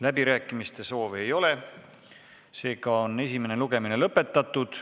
Läbirääkimiste soovi ei ole, esimene lugemine on lõppenud.